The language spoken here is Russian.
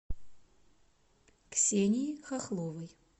ксении хохловой